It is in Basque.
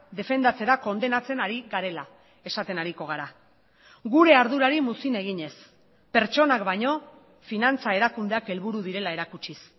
defendatzera kondenatzen ari garela esaten ariko gara gure ardurari muzin eginez pertsonak baino finantza erakundeak helburu direla erakutsiz